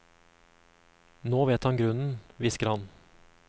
Nå vet han grunnen, hvisker han.